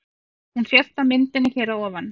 Hún sést á myndinni hér að ofan.